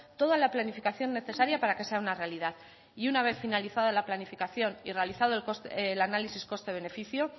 toda la planificación necesaria para que sea una realidad y una vez finalizada la planificación y realizado el análisis coste beneficio